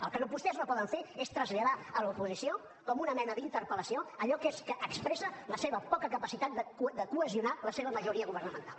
el que vostès no poden fer és traslladar a l’oposició com una mena d’interpel·lació allò que expressa la seva poca capacitat de cohesionar la seva majoria governamental